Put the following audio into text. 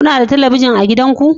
Kuna da talabijin a gidanku?